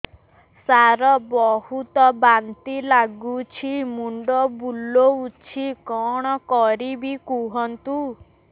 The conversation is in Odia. ସାର ବହୁତ ବାନ୍ତି ଲାଗୁଛି ମୁଣ୍ଡ ବୁଲୋଉଛି କଣ କରିବି କୁହନ୍ତୁ